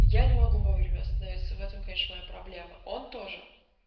я не могу вовремя остановиться в этом конечно моя проблема он тоже